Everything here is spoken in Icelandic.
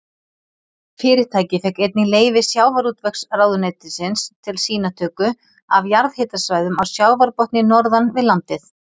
Fyrirtækið fékk einnig leyfi sjávarútvegsráðuneytisins til sýnatöku af jarðhitasvæðum á sjávarbotni norðan við landið.